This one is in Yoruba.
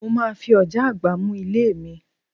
Mo máa fi ọ̀já àgbá mú ilé mi